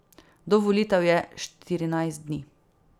Do volitev je štirinajst dni.